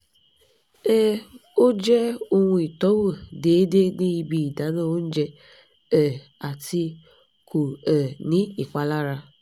um o jẹ ohun itọwo déédé ni ibi ìdáná oúnjẹ um ati ko um ni ìpalára